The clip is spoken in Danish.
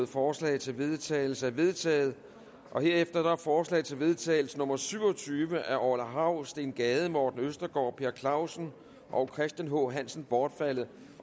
forslag til vedtagelse er vedtaget herefter er forslag til vedtagelse nummer v syv og tyve af orla hav steen gade morten østergaard per clausen og christian h hansen bortfaldet